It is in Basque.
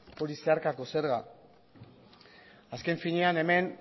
hori zeharkako zerga azken finean hemen